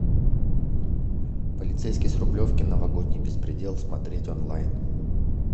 полицейский с рублевки новогодний беспредел смотреть онлайн